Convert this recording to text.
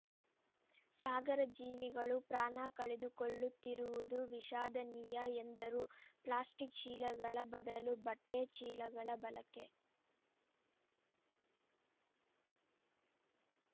ಸಾಗರ ಜೀವಿಗಳು ಪ್ರಾಣ ಕಳೆದುಕೊಳ್ಳುತ್ತಿರುವುದು ವಿಷಾದನೀಯ ಎಂದರು ಪ್ಲಾಸ್ಟಿಕ್‌ ಚೀಲಗಳ ಬದಲು ಬಟ್ಟೆಚೀಲಗಳ ಬಳಕೆ